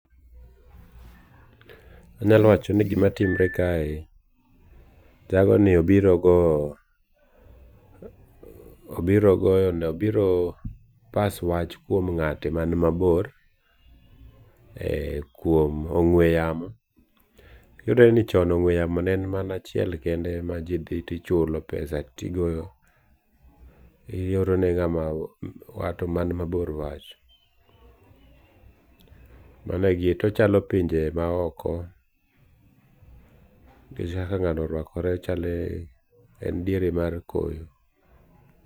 Anyalo wacho ni gima timre kae jagoni obiro goo, obiro goo pass wach kuom ng'ate man mabor ee kuom ong'ue yamo, yudre ni chon ong'ue yamo ne en mana achiel kende ma idhi tichulo pesa to igoyo ioro ne wat man mabor wach, mano egim, to ochalo pinje ma oko nikech kaka ng'ano oruakre en diere koyo.